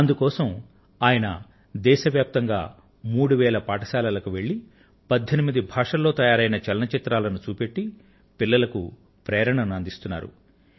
అందుకోసం ఆయన దేశవ్యాప్తంగా మూడు వేల పాఠశాలలకు వెళ్ళి 18 భాషలలో తయారైన చలనచిత్రాలను చూపెట్టి పిలల్లకు ప్రేరణను అందిస్తున్నారు